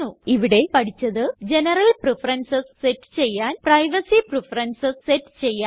ഇവിടെ പഠിച്ചത് general preferences set ചെയ്യാൻ പ്രൈവസി പ്രഫറൻസസ് സെറ്റ് ചെയ്യാൻ